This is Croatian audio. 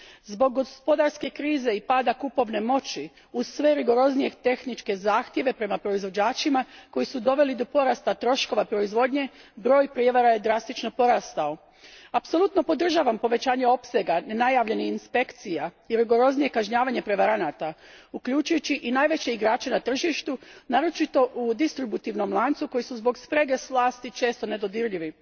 Zbog gospodarske krize i pada kupovne moći, uz sve rigoroznije tehničke zahtjeve prema proizvođačima koji su doveli do porasta troškova proizvodnje, broj prijevara je drastično porastao. Apsolutno podržavam povećanje opsega nenajavljenih inspekcija i rigoroznije kažnjavanje prevaranata uključujući i najveće igrače na tržištu, naročito u distributivnom lancu, koji su zbog sprege s vlasti često nedodirljivi.